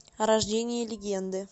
рождение легенды